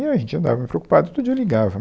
E a gente andava meio preocupado, todo dia eu ligava.